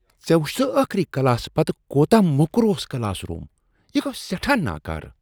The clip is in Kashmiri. ژےٚ وُچھتھٕ ٲخٕری کلاسہٕ پتہٕ کوتاہ موٚکر اوس کلاس روٗم؟ یہ گو سیٹھاہ ناکارٕ۔۔